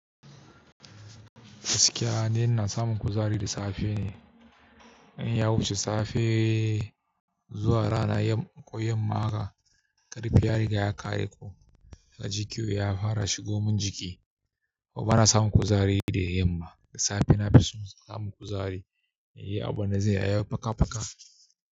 Gaskiya ni ina samun kuzari da safe ne. In ya wuce safe zuwa rana ko yamma haka ƙarfi ya riga ya ƙare ko kaji kyeuya yafara shigo min jiki. To bana samun kuzari da yamma. Da safe na fi samun kuzari, inyi abunda zan yi pakapaka.